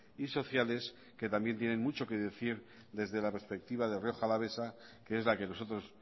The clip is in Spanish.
y sociales que también tienen mucho qué decir desde la perspectiva de la rioja alavesa que es la que nosotros